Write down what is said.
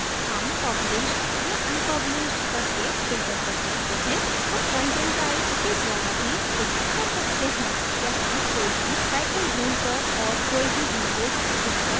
हम published या unpublished करके filter कर सकते हैं हम content type के द्वारा भी filter कर सकते हैं या हम कोई भी title ढूँढ कर और कोई भी language चुनकर कर सकते हैं